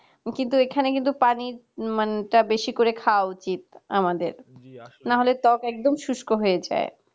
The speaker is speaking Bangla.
কিন্তু এখানে কিন্তু পানির মানটা বেশি করে খাওয়া উচিত আমাদের না হলে ত্বক একদম শুষ্ক হয়ে যায়